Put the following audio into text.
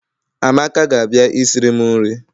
Amaka ga-abia isiri m nri